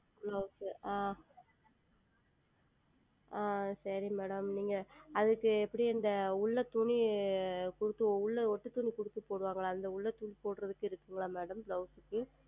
Blouse ஆஹ் ஆஹ் சரி Madam நீங்கள் அதற்கு எப்படி அந்த உள் துணி உள்ளே ஒட்டு துணி கொடுத்து போடுவார்கள் அல்லவா அந்த உள்ளே துணி கொடுத்து போடுவதற்கு இருக்கிறதா MadamBlouse க்கு